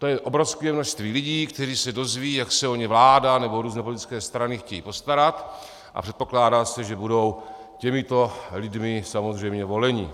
To je obrovské množství lidí, kteří se dozvědí, jak se o ně vláda nebo různé politické strany chtějí postarat, a předpokládá se, že budou těmito lidmi samozřejmě voleni.